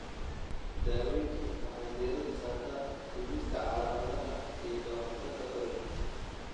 Daaweyntu waxay diiradda saartaa dhimista calaamadaha iyo ka hortagga ololka.